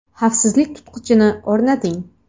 Xavfsizlik tutqichini o‘rnating.